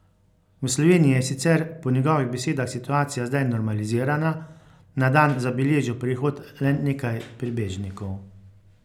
V Sloveniji je sicer po njegovih besedah situacija zdaj normalizirana, na dan zabeležijo prihod le nekaj prebežnikov.